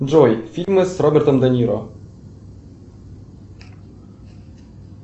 джой фильмы с робертом де ниро